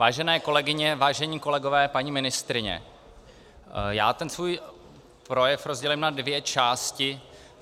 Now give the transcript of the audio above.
Vážené kolegyně, vážení kolegové, paní ministryně, já ten svůj projev rozdělím na dvě části.